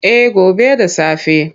Eh gobe da safe.